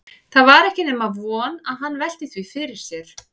Það var ekki nema von að hann velti því fyrir sér.